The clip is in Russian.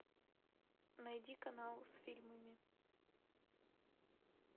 найди канал с фильмами